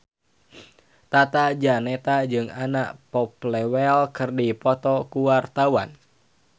Tata Janeta jeung Anna Popplewell keur dipoto ku wartawan